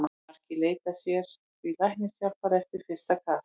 Margir leita sér því læknishjálpar eftir fyrsta kast.